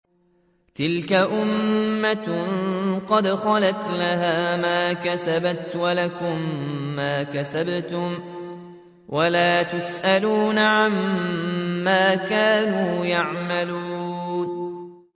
تِلْكَ أُمَّةٌ قَدْ خَلَتْ ۖ لَهَا مَا كَسَبَتْ وَلَكُم مَّا كَسَبْتُمْ ۖ وَلَا تُسْأَلُونَ عَمَّا كَانُوا يَعْمَلُونَ